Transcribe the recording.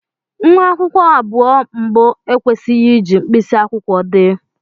Nwa akwụkwọ abụọ mbụ ekwesịghị iji mkpịsị akwụkwọ dee.